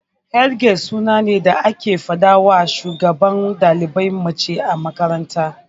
Head girl suna ne da ake fadawa shugabar dalibai mace a makaranta.